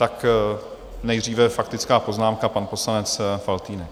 Tak nejdříve faktická poznámka, pan poslanec Faltýnek.